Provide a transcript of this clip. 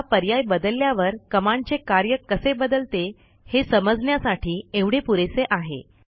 आता पर्याय बदलल्यावर कमांडचे कार्य कसे बदलते हे समजण्यासाठी एवढे पुरेसे आहे